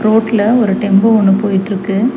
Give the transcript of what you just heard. ரோட்ல ஒரு டெம்போ ஒன்னு போயிட்ருக்கு.